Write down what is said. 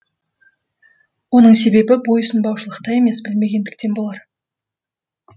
оның себебі бойұсынбаушылықта емес білмегендіктен болар